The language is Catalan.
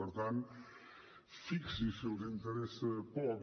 per tant fixi’s si els interessa poc